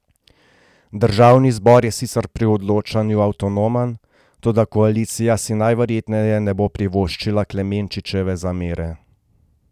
Državni zbor je sicer pri odločanju avtonomen, toda koalicija si najverjetneje ne bo privoščila Klemenčičeve zamere.